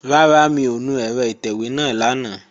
Rárá, mi ò nu ẹ̀rọ ìtẹ̀wé náà lánàá